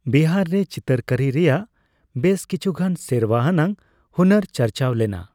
ᱵᱤᱦᱟᱨ ᱨᱮ ᱪᱤᱛᱟᱹᱨ ᱠᱟᱹᱨᱤ ᱨᱮᱭᱟᱜ ᱵᱮᱥ ᱠᱤᱪᱷᱩᱜᱟᱱ ᱥᱮᱨᱣᱟ ᱟᱱᱟᱜ ᱦᱩᱱᱟᱹᱨ ᱪᱟᱨᱪᱟᱣ ᱞᱮᱱᱟ ᱾